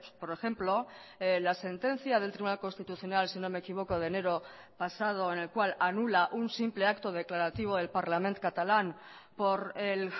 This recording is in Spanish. por ejemplo la sentencia del tribunal constitucional si no me equivoco de enero pasado en el cual anula un simple acto declarativo del parlament catalán por el